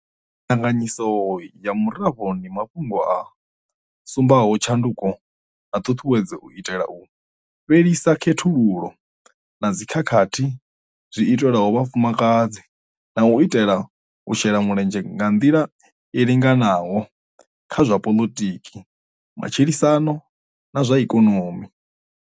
Ndinganyiso ya Murafho ndi mafhungo a sumbaho tshanduko na ṱhuṱhuwedzo u itela u fhelisa khethululo na dzikhakhathi zwi itelwaho vhafumakadzi na u itela u shela mulenzhe nga nḓila i linganaho kha zwa poḽotiki, matshilisano na zwa ikonomi.